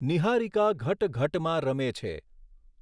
નિહારિકા ઘટઘટમાં રમે છે